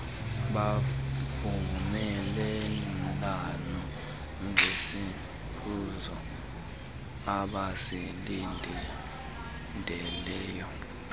bavumelana ngesiphumo abasilindeleyo